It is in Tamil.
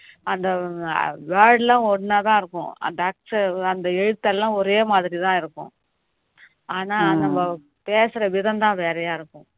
அந்த word எல்லாம் ஒன்னாதான் இருக்கும் அந்த எழுத்தெல்லாம் ஒரே மாதிரி தான் இருக்கும் ஆனா நம்ம பேசுற விதம்தான் வேறயா இருக்கும் இப்போ